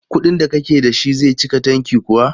Kuɗin da kake da shi zai cika tanki kuwa?